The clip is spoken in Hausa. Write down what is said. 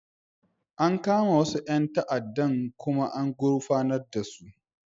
An kama wasu 'yan ta'addan kuma an gurfanar su.